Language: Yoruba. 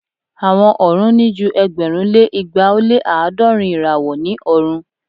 Awọn ọrun ni ju ẹgbẹ̀rún lé igba o lé aadọrun irawo ni ọrun.